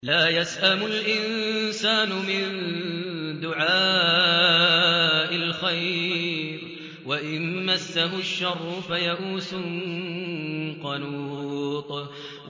لَّا يَسْأَمُ الْإِنسَانُ مِن دُعَاءِ الْخَيْرِ وَإِن مَّسَّهُ الشَّرُّ فَيَئُوسٌ قَنُوطٌ